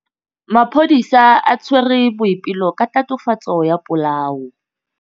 Maphodisa a tshwere Boipelo ka tatofatsô ya polaô.